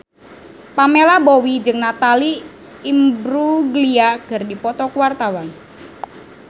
Pamela Bowie jeung Natalie Imbruglia keur dipoto ku wartawan